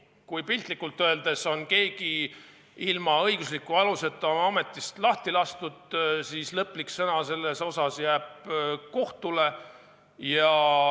Piltlikult öeldes, kui keegi on ilma õigusliku aluseta oma ametist lahti lastud, siis lõplik sõna jääb kohtule.